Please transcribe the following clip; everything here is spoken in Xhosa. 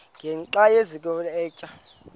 ngenxa yokazinikela etywa